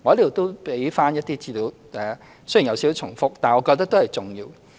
我在此也提供一些資料，雖然有點重複，但我覺得都是重要的。